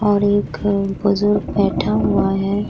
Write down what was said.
और एक अ बुजुर्ग बैठा हुआ है।